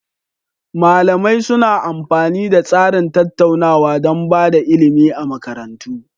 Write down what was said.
Malamai suna amfani da tsarin tattaunawa don ba da ilimi a makarantu.